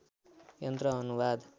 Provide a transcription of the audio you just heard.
यन्त्र अनुवाद